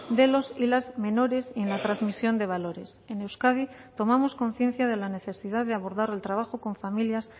de los y las menores y en la transmisión de valores en euskadi tomamos conciencia de la necesidad de abordar el trabajo con familias